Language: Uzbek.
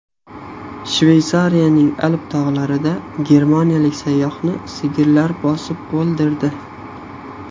Shveysariyaning Alp tog‘larida germaniyalik sayyohni sigirlar bosib o‘ldirdi.